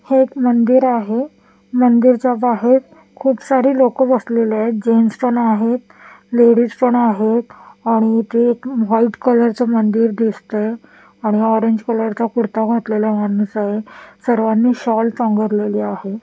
हे एक मंदिर आहे मंदिरच्या बाहेर खूप सारी लोक बसलेले आहेत जेन्ट्स पण आहेत लेडीज पण आहेत आणि इथे एक व्हाईट कलर च मंदिर दिसतय आणि ऑरेंज कलर चा कुर्ता घातलेला माणूस आहे सर्वांनी शॉल पांघरलेली आहे.